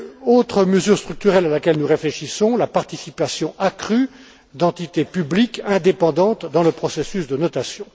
Autre mesure structurelle à laquelle nous réfléchissons, la participation accrue d'entités publiques indépendantes dans le processus de notation.